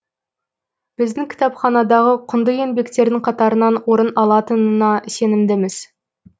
біздің кітапханадағы құнды еңбектердің қатарынан орын алатынына сенімдіміз